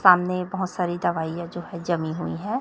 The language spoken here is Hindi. सामने बहोत सारी दवाइयां जो है जमी हुई है।